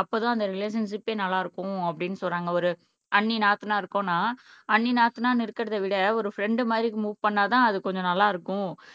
அப்பதான் அந்த ரிலேஷன்ஷிப்பே நல்லா இருக்கும் அப்படின்னு சொல்றாங்க ஒரு அண்ணி நாத்தனார் இருக்கோம்னா அண்ணி நாத்தனார்ன்னு இருக்கிறத விட ஒரு ஃப்ரெண்ட் மாதிரி மூவ் பண்ணா தான் அது கொஞ்சம் நல்லா இருக்கும்